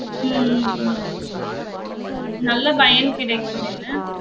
உம் உம் உம் நல்ல பயன் கிடைக்கும் என்ன?